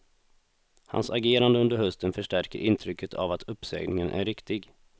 Hans agerande under hösten förstärker intrycket av att uppsägningen är riktig.